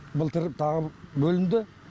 былтыр тағы бөлінді